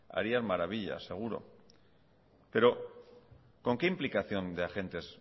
harían maravillas seguro pero con qué implicación de agentes